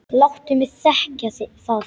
Láttu mig þekkja það!